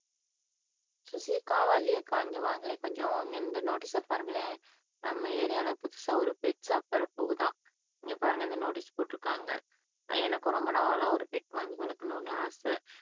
சுசி அக்கா, வள்ளி அக்கா இங்க வாங்களேன் கொஞ்சம் இந்த நோட்டீஸ பாருங்களேன், நம்ம ஏரியாவுல புதுசா ஒரு பெட் ஷாப் வரப்போகுதாம் இங்க பாருங்க இந்த நோட்டீஸ் போட்ருக்காங்க எனக்கும் ரொம்ப நாளா ஒரு பெட் வாங்கி வளக்கணும்னு ஆசை